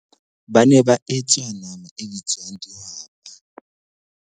Ba ne ba etsa nama e bitswang dihwapa.